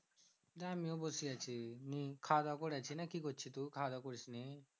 আমিও বসে আছি। হম খাওয়া দাওয়া করেছি নাকি করছিস তু খাওয়া দাওয়া করিসনি?